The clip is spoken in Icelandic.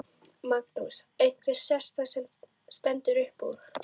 Magnús: Eitthvað sérstakt sem stendur upp úr?